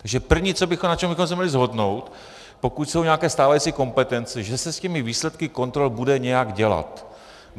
Takže první, na čem bychom se mohli shodnout, pokud jsou nějaké stávající kompetence, že se s těmi výsledky kontrol bude nějak dělat.